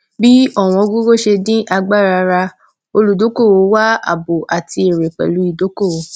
bí ọwọn gogo ṣe dín agbára rà olùdókòwò wá àbò àti èrè pẹlú ìdókòwò